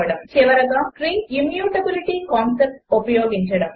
13 చివరిగా strings immutability concept ఉపయోగించడము